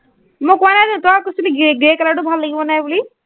মই কোৱা নাই জানো, তইহে কৈছিলি grey grey color টো ভাল লাগিব নাই বুলি।